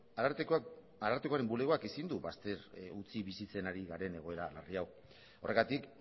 arartekoaren bulegoak ezin du bazter utzi bizitzen ari garen egoera larri hau horregatik